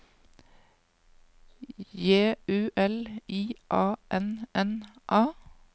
J U L I A N N A